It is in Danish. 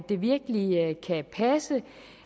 det virkelig kan passe